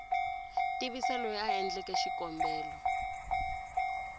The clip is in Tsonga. tivisa loyi a endleke xikombelo